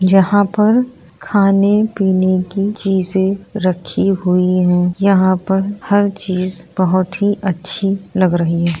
यहाँ पर खाने-पीने की चीजे रखी हुई है यहां पर हर चीज बहुत ही अच्छी लग रही है।